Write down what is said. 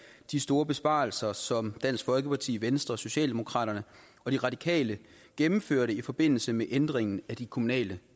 de store besparelser som dansk folkeparti venstre socialdemokraterne og de radikale gennemførte i forbindelse med ændringen af de kommunale